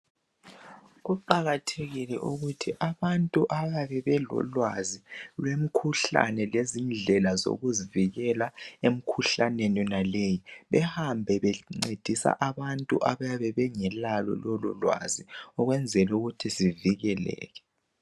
Kuqakathekile ukuthi abantu abayabe belolwazi lwemikhuhlane lezindlela zokuzivikela emkhuhlaneni yonaleyo. Behambe bencedisa abantu abayabe bengalalo lololwazi. Ukwenzela ukuthi sivikeleke.